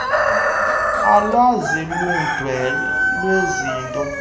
alwazi uludwe lwezinto